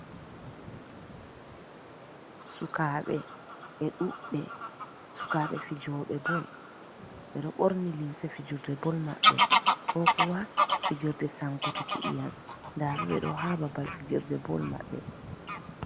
Sukaɓe, be ɗuɓɓe. Sukaɓe fijoɓe bol, ɓe ɗo ɓorni limse fijirde bol maɓɓe, ko kuwa fijirde sankutuki iyam. Nda ɓe, ɓe ɗo ha babal fijirde bol maɓɓe.